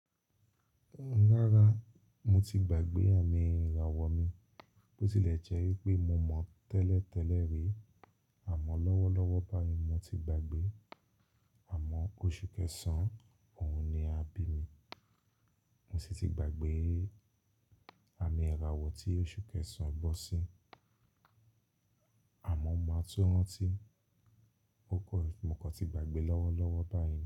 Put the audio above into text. Rárá, mo ti gbàgbé àmì ìràwọ̀ mi, bó tilẹ̀ jẹ́ wípé mo mọ tẹ́lẹ̀tẹ́lẹ̀ rí àmọ́ lọ́wọ́lọ́wọ́ báyìí mo ti gbàgbé àmọ́ oṣù kẹsàn-án, òhun ni abí mi, mo sì ti gbàgbé àmì ìràwọ̀ tí oṣù kẹsàn-án bọ́ sí, àmọ́ máa tún ranti ó kọ̀, mo kọ̀ ti gbàgbé lọ́wọ́lọ́wọ́ báyìí.